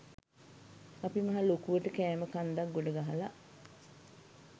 අපි මහ ලොකුවට කෑම කන්දක් ගොඩ ගහලා